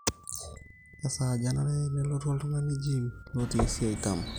kesaaja enare nelotu oltungani gym lotii esiai dama